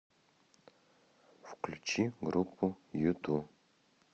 включи группу юту